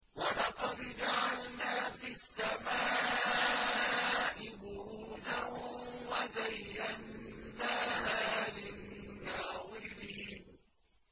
وَلَقَدْ جَعَلْنَا فِي السَّمَاءِ بُرُوجًا وَزَيَّنَّاهَا لِلنَّاظِرِينَ